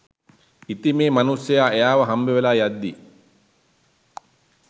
ඉතිං මේ මනුස්සයා එයාව හම්බවෙලා යද්දී